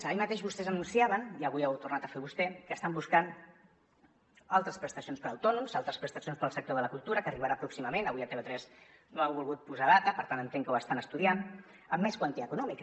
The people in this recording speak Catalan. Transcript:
ahir mateix vostès anunciaven i avui ho ha tornat a fer vostè que estan buscant altres prestacions per a autònoms altres prestacions per al sector de la cultura que arribaran pròximament avui a tv3 no ha volgut posar data per tant entenc que ho estan estudiant amb més quantia econòmica